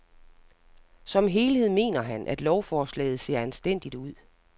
Som helhed mener han, at lovforslaget ser anstændigt ud.